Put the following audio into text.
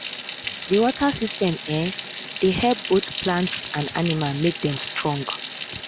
the water system um dey help both plants and animals make dem strong